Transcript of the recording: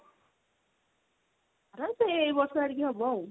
ତାର ସେଇ ଏଇ ବର୍ଷ ଆଡିକି ହବ ଆଉ।